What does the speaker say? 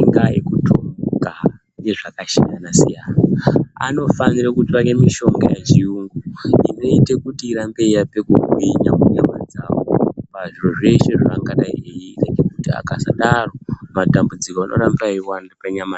ingaa yekutomhuka, ngezvakashiyana-siyana, anofanire kutsvake mishonga yechiyungu inoite kuti irambe yeiape kugwinya munyama dzavo pazviro zveshe zvavangadai eiita, Ngekuti akasadaro, matambudziko anoramba eiwanda panyama ya..